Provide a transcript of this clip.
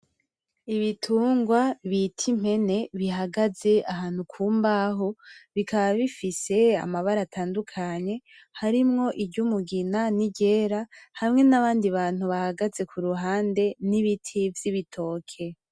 Ibitungwa bita impene bihagaze ahantu ku mbaho , bikaba bifise amabara atandukanye, harimwo iry'umugina niryera hamwe n'abandi bantu bahagaze kuruhande, n'ibiti vy'ibitoke.